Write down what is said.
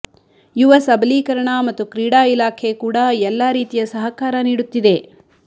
ಯುವ ಸಬಲೀಕರಣ ಮತ್ತು ಕ್ರೀಡಾ ಇಲಾಖೆ ಕೂಡಾ ಎಲ್ಲಾ ರೀತಿಯ ಸಹಕಾರ ನೀಡುತ್ತಿದೆ